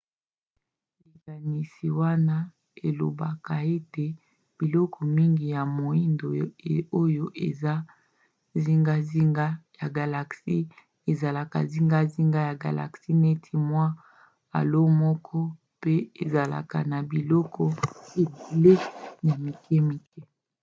likanisi wana elobaka ete biloko mingi ya moindo oyo eza zingazinga ya galaxie ezalaka zingazinga ya galaxie neti mwa halo moko pe ezalaka na biloko ebele ya mikemike